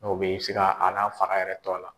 Dɔw bɛ se k'a n'a fara yɛrɛ to a la.